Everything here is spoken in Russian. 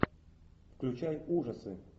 включай ужасы